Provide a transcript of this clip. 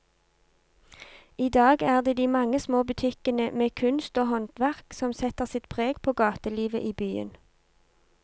I dag er det de mange små butikkene med kunst og håndverk som setter sitt preg på gatelivet i byen.